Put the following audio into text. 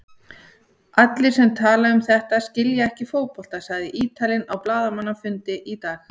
Allir sem tala um þetta skilja ekki fótbolta, sagði Ítalinn á blaðamannafundi í dag.